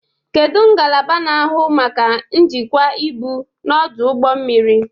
Kedu ngalaba na-ahụ maka njikwa ibu n'ọdụ ụgbọ mmiri?